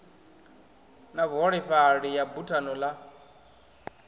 na vhuholefhali ya buthano ḽa